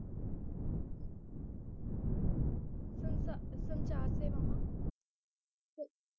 ਸੰਸਾ ਸੰਚਾਰ ਸੇਵਾਵਾਂ ਸ~